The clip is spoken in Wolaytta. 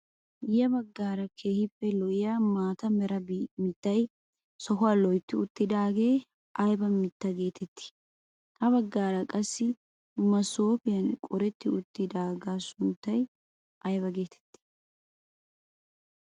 Ya baggaara keehippe lo'iyaa maata mera miittay sohuwaa loytti uttidaagee ayba mittaa getettii? Ha baggaara qassi maasoopiyaan qoretti uttidabaa sunttay ayba getettii?